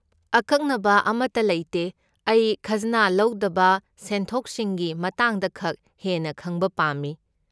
ꯑꯀꯛꯅꯕ ꯑꯃꯠꯇ ꯂꯩꯇꯦ, ꯑꯩ ꯈꯖꯅꯥ ꯂꯧꯗꯕ ꯁꯦꯟꯊꯣꯛꯁꯤꯡꯒꯤ ꯃꯇꯥꯡꯗꯈꯛ ꯍꯦꯟꯅ ꯈꯪꯕ ꯄꯥꯝꯃꯤ꯫